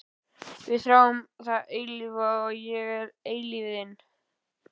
Við þráum það eilífa og ég er eilífðin.